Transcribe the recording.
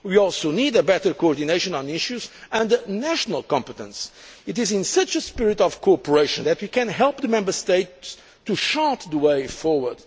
We also need a better coordination on issues under national competence. It is in such a spirit of cooperation that we can help the Member States to chart the way forward.